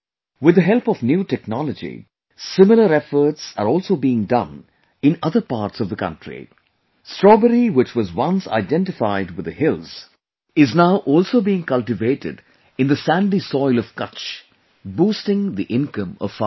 With the help of new technology, similar efforts are also being done in other parts of the country, Strawberry which was once identified with the hills, is now also being cultivated in the sandy soil of Kutch, boosting the income of farmers